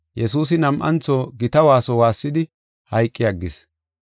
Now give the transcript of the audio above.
Yesuusi nam7antho gita waaso waassidi, hayqi aggis.